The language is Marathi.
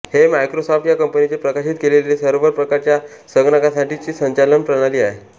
हे मायक्रोसॉफ्ट या कंपनीने प्रकाशित केलेली सर्व्हर प्रकारच्या संगणकांसाठीची संचालन प्रणाली आहे